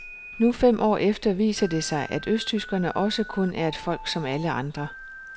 Nu fem år efter viser det sig, at østtyskerne også kun er et folk som alle andre.